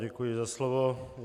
Děkuji za slovo.